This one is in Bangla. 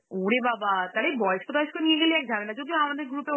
ওরে বাবা! তাহলে বয়স্ক তয়স্ক নিয়ে গেলে এক ঝামেলা, যদিও আমাদের group এ